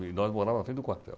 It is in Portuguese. E nós morava na frente do quartel.